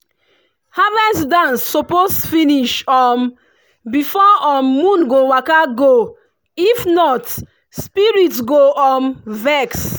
harvest dance suppose finish um before um moon go waka if not spirit go um vex.